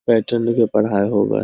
Pattern के पढाय होवै।